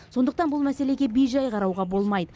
сондықтан бұл мәселеге бейжай қарауға болмайды